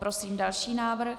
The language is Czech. Prosím další návrh.